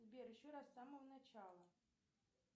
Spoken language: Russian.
сбер еще раз с самого начала